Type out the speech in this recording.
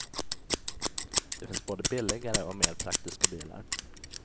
Det finns både billigare och mer praktiska bilar.